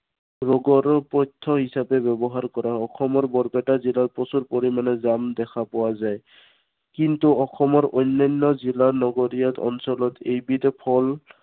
ৰোগৰ পথ্য় হিচাপে ব্য়ৱহাৰ কৰা হয়। অসমৰ বৰপেটা জিলাত প্ৰচুৰ পৰিমানে জাম দেখা পোৱা যায়। কিন্তু অসমৰ অন্য়ান্য় জিলাৰ, নগৰীয়া অঞ্চলত এইবিধ ফল